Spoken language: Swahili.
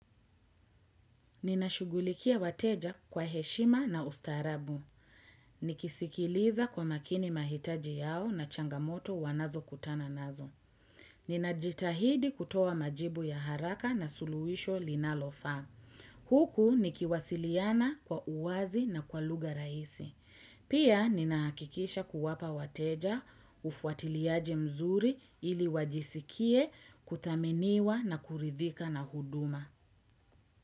Ninashugulikia wateja kwa heshima na ustarabu. Nikisikiliza kwa makini mahitaji yao na changamoto wanazo kutana nazo. Nina jitahidi kutoa majibu ya haraka na suluhisho linalo faa. Huku nikiwasiliana kwa uwazi na kwa lugha rahisi. Pia nina hakikisha kuwapa wateja ufuatiliaji mzuri ili wajisikie kuthaminiwa na kuridhika na huduma.